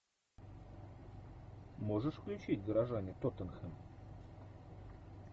можешь включить горожане тоттенхэм